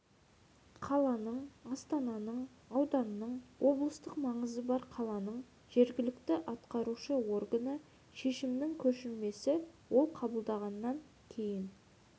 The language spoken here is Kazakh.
қаланың астананың ауданның облыстық маңызы бар қаланың жергілікті атқарушы органы шешімінің көшірмесі ол қабылданғаннан кейін